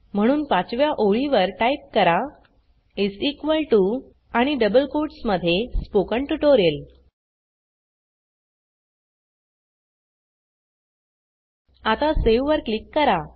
म्हणून 5 व्या ओळीवर टाइप करा आणि डबल कोट्स मध्ये स्पोकन ट्युटोरियल आता सावे वर क्लिक करा